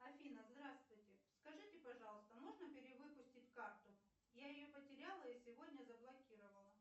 афина здравствуйте скажите пожалуйста можно перевыпустить карту я ее потеряла и сегодня заблокировала